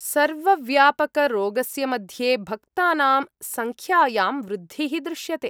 सर्वव्यापकरोगस्य मध्ये भक्तानां सङ्ख्यायां वृद्धिः दृश्यते।